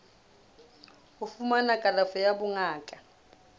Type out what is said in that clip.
ho fumana kalafo ya bongaka